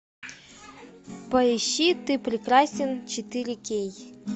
поищи ты прекрасен четыре кей